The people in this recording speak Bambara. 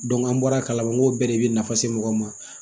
an bɔra kalama ko bɛɛ de bɛ nafa se mɔgɔw ma